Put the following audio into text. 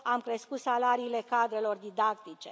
Am crescut salariile cadrelor didactice.